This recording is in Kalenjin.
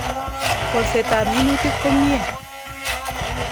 Kolset ab minutik komye